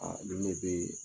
Aa nin de bɛ yen